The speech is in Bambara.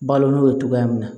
Balo n'o ye cogoya min na